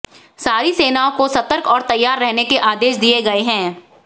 सारी सेनाओं को सतर्क और तैयार रहने के आदेश दिए गए हैं